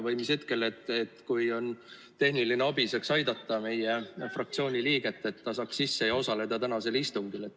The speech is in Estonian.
Või mis hetkel saaks tulla tehniline abi ja aidata meie fraktsiooni liiget, et ta saaks sisse ja osaleda tänasel istungil?